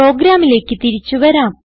പ്രോഗ്രാമിലേക്ക് തിരിച്ചു വരാം